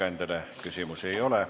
Ettekandjale küsimusi ei ole.